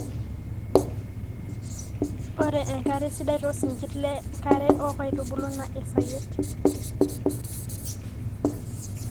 ore enkare sidai too sinkir le nkare o kaitubulu naa esayiet